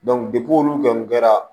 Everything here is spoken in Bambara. olu kɔni kɛra